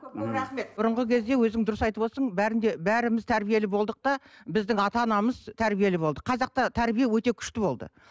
рахмет бұрынғы кезде өзің дұрыс айтып отырсың бәрінде бәріміз тәрбиелі болдық та біздің ата анамыз тәрбиелі болды қазақта тәрбие өте күшті болды